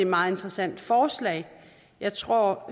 meget interessant forslag jeg tror